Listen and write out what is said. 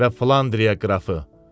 Və Flandriya qrafı!